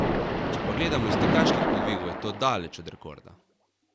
Če pa gledamo iz tekaških podvigov, je to daleč od rekorda.